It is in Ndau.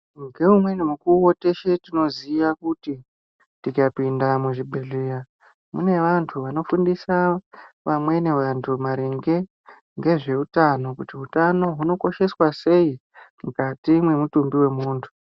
Ngeumweni mukuwo teshe tinozviziva kuti tikapinda muzvibhedhlera mune vantu vanofundisa vamweni vantu maringe ngezvehutano kuti hutano hunokosheswa sei mukati memutumbi wemuntu.